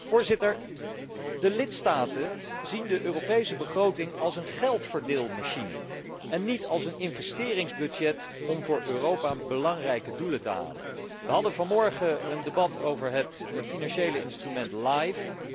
Voorzitter, de lidstaten zien de Europese begroting als een geldverdeelmachine en niet als een investeringsbudget om voor Europa belangrijke doelen te halen. We hadden vanmorgen een debat over het financiële instrument LIFE.